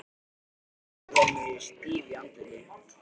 Sat bara og horfði á mig stíf í andliti.